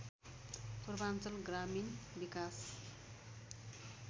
पूर्वाञ्चल ग्रामीण विकास